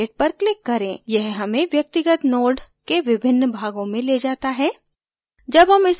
यह हमें व्यक्तिगत node के विभिन्न भागों में ले जाता है